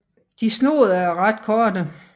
De er snoede og ret korte